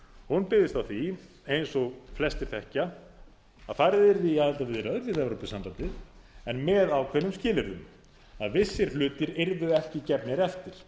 hún byggðist á því eins og flestir þekkja að farið yrði í aðildarviðræður við evrópusambandið en með ákveðnum skilyrðum að vissir hlutir yrðu ekki gefnir eftir